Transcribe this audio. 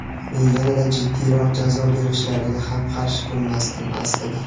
Men yanada jiddiyroq jazo berishlariga ham qarshi bo‘lmasdim, aslida.